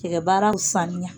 Cɛkɛbaara sanuya.